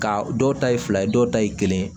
Ka dɔw ta ye fila ye dɔw ta ye kelen ye